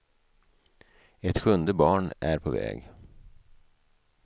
Ett sjunde barn är på väg.